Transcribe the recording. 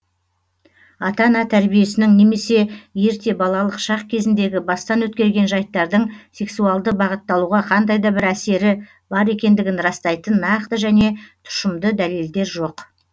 ата ана тәрбиесінің немесе ерте балалық шақ кезіндегі бастан өткерген жайттардың сексуалды бағытталуға қандай да бір әсері бар екендігін растайтын нақты және тұшымды дәлелдер жоқ